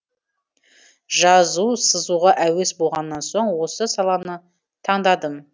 жазу сызуға әуес болғаннан соң осы саланы таңдадым